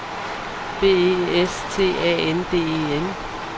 B E S T A N D E N